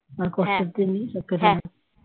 আর কষ্টের দিন সব কেটে গেছে